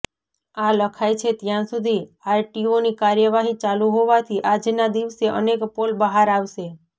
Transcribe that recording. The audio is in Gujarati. આ લખાય છે ત્યાં સુધી આરટીઓની કાર્યવાહી ચાલુ હોવાથી આજના દિવસે અનેક પોલ બહાર આવશે